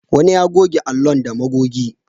Wani ya goge allon da magogi.